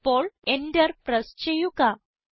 ഇപ്പോൾ Enter press ചെയ്യുക